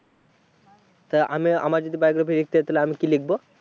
তাহলে আমি, আমার যদি biography লিখতে হয় তাহলে আমি কি লিখব।